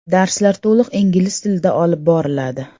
Darslar to‘liq ingliz tilida olib boriladi!